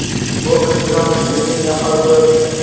Bu intizomsizlikning yaqqol ko‘rinishi.